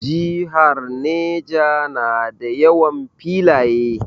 Jihar Neja na da yawan filaye